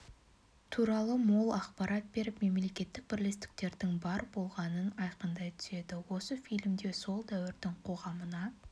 туралы мол ақпарат беріп мемлекеттілік бірлестіктердің бар болғанын айқындай түседі осы фильмде сол дәуірдің қоғамына